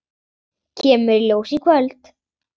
Kemur í ljós í kvöld.